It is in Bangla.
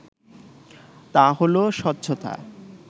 তা হলো স্বচ্ছতা